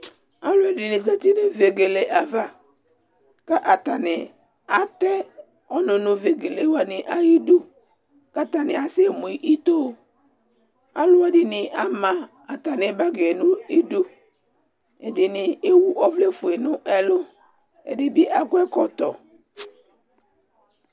Aalʋɛɖini zati nʋ ivegele ayava, k'atani aɖʋ ɔnʋ nʋ ivegelewani ayiɖʋ k'atani asɛmu itoAalʋɛɖini ama atami bagi n'iɖʋ, ɛɖini ewu ɔvlɛ fue n'ɛlʋ, ɛɖini akɔ ɛkɔtɔ